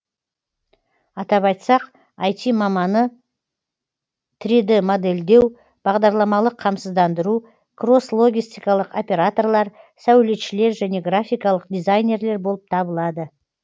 атап айтсақ іт маманы трид модельдеу бағдарламалық қамсыздандыру кросс логистикалық операторлар сәулетшілер және графикалық дизайнерлер болып табылады